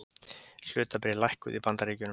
Hlutabréf lækkuðu í Bandaríkjunum